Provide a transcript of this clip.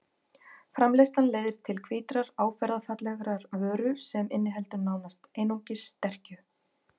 Framleiðslan leiðir til hvítrar áferðarfallegrar vöru sem inniheldur nánast einungis sterkju.